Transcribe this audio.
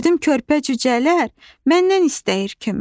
Gördüm körpə cücələr məndən istəyir kömək.